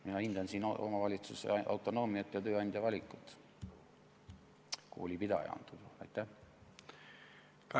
Mina hindan siin omavalitsuse autonoomiat ja tööandja valikut, koolipidaja valikut antud juhul.